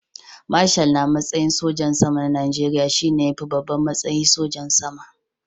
Marshal na matsayin sojan sama na Najeriya shi ne ya fi babban matsayi sojan sama.